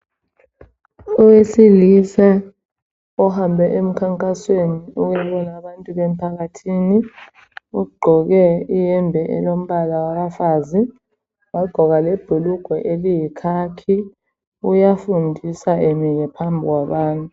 Owesilisa ohambe emkhankasweni wabantu bemphakathini. Ugqoke iyembe elombala wabafazi wagqoka lebhulugwe eliyikhakhi. Uyafundisa emile phambi kwabantu.